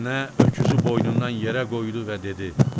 Fitnə öküzü boynundan yerə qoydu və dedi: